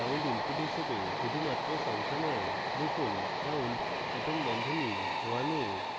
round input হিসাবে শুধুমাত্র সংখ্যা নেয় লিখুন round 1a